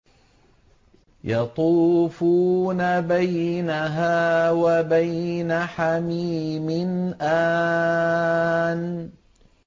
يَطُوفُونَ بَيْنَهَا وَبَيْنَ حَمِيمٍ آنٍ